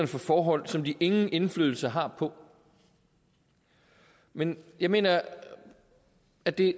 for forhold som de ingen indflydelse har på men jeg mener at det